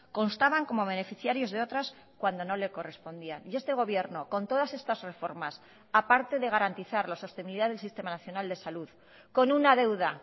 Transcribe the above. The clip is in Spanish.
constaban como beneficiarios de otras cuando no le correspondía y este gobierno con todas estas reformas aparte de garantizar la sostenibilidad del sistema nacional de salud con una deuda